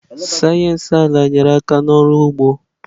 Sayensị ala nyere aka n'ọrụ ugbo.